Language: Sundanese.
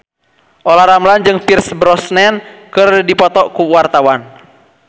Olla Ramlan jeung Pierce Brosnan keur dipoto ku wartawan